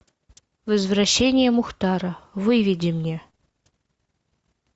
возвращение мухтара выведи мне